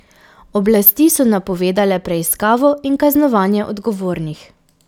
Oblasti so napovedale preiskavo in kaznovanje odgovornih.